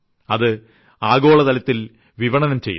അത് ആഗോളതലത്തിൽ വിപണനം ചെയ്യുന്നു